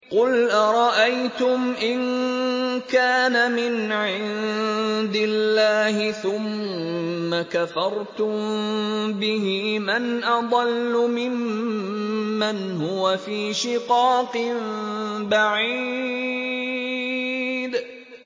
قُلْ أَرَأَيْتُمْ إِن كَانَ مِنْ عِندِ اللَّهِ ثُمَّ كَفَرْتُم بِهِ مَنْ أَضَلُّ مِمَّنْ هُوَ فِي شِقَاقٍ بَعِيدٍ